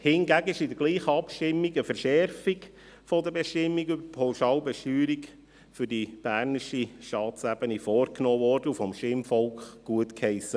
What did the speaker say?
Hingegen wurde mit derselben Abstimmung eine Verschärfung der Bestimmungen zur Pauschalbesteuerung für die bernische Staatsebene vorgenommen und vom Stimmvolk gutgeheissen.